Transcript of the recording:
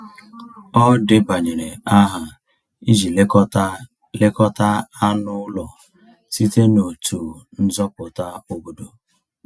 Ọ debanyere aha iji lekọta lekọta anụ ụlọ site n’otu nzọpụta obodo.